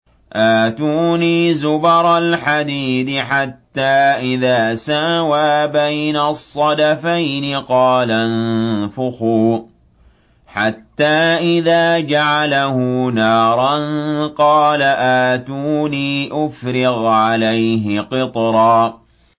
آتُونِي زُبَرَ الْحَدِيدِ ۖ حَتَّىٰ إِذَا سَاوَىٰ بَيْنَ الصَّدَفَيْنِ قَالَ انفُخُوا ۖ حَتَّىٰ إِذَا جَعَلَهُ نَارًا قَالَ آتُونِي أُفْرِغْ عَلَيْهِ قِطْرًا